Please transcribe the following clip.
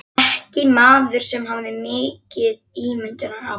Ekki maður sem hafði mikið ímyndunarafl.